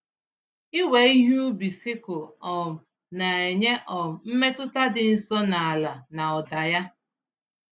Iwe ihe ubi sikụl um na-enye um mmetụta dị nso na ala na ụda ya.